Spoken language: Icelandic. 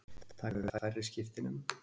Taka við færri skiptinemum